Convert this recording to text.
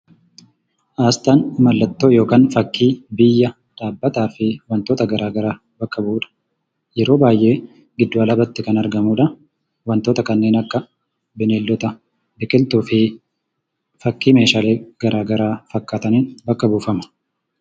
Asxaan mallattoo yookaan fakkii biyya, dhaabbataa fi wantoota garaagaraa bakka bu'u dha. Yeroo baay'ee gidduu alaabaatti kan argamu dha. Wantoota kanneen akka bineeldota, biqiltuu fi fakkii meeshaalee garagaraa fakkaataniin bakka buufama.